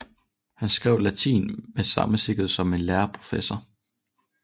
Han skrev latin med samme sikkerhed som en lærd professor